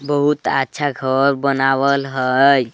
बहुत अच्छा घर बनावल हई।